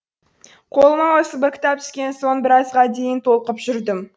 қолыма осы бір кітап түскен соң біразға дейін толқып жүрдім